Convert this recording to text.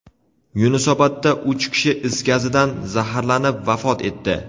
Yunusobodda uch kishi is gazidan zaharlanib vafot etdi.